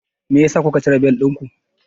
Meyasa kuka cire bel ɗinku?